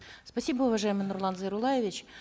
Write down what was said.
спасибо уважаемый нурлан зайроллаевич